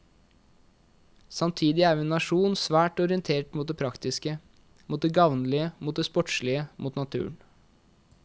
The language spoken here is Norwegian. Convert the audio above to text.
Samtidig er vi en nasjon svært orientert mot det praktiske, mot det gavnlige, mot det sportslige, mot naturen.